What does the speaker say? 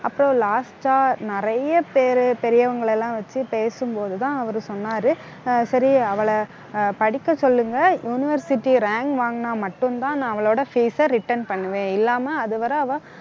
அப்புறம் last ஆ நிறைய பேரு பெரியவங்களை எல்லாம் வச்சு பேசும்போதுதான் அவரு சொன்னாரு. ஆஹ் சரி, அவளை அஹ் படிக்க சொல்லுங்க university rank வாங்குனா மட்டும்தான் நான் அவளோட fees அ return பண்ணுவேன். இல்லாம அதுவரை அவ